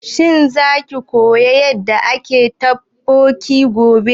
Shin za ki koya yanda ake haɗa totbokki gobe?